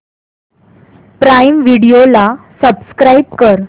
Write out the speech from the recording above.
prime Video ला subscribe कर